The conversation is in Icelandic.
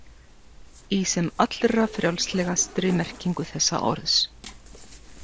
Í sem allra frjálslegastri merkingu þess orðs.